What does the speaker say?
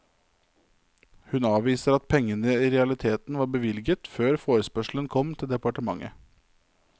Hun avviser at pengene i realiteten var bevilget før forespørselen kom til departementet.